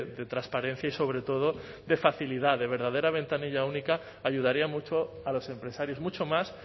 de transparencia y sobre todo de facilidad de verdadera ventanilla única ayudaría mucho a los empresarios mucho más